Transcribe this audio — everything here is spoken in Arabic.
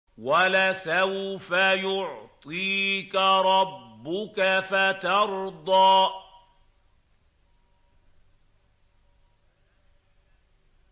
وَلَسَوْفَ يُعْطِيكَ رَبُّكَ فَتَرْضَىٰ